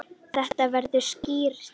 Þetta verður skrýtið.